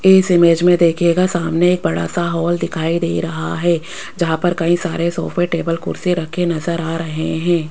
इस इमेज में दिखेगा सामने एक बड़ा सा हाल दिखाई दे रहा है जहां पर कई सारे सोफे टेबल कुर्सी रखे नजर आ रहे हैं।